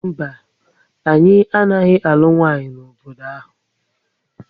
Mba, anyị anaghị alụ nwanyị n'obodo ahu